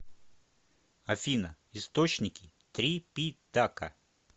афина источники трипитака